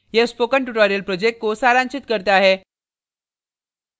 यह spoken tutorial project को सारांशित करता है